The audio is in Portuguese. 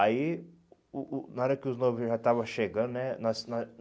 Aí, o o na hora que os noivos já estavam chegando, né? nós nós